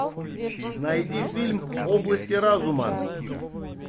найди фильм области разума